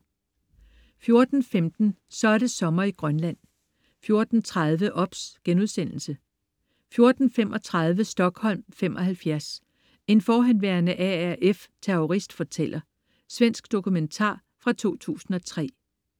14.15 Så er det sommer i Grønland 14.30 OBS* 14.35 Stockholm '75. En forhenværende RAF-terrorist fortæller. Svensk dokumentar fra 2003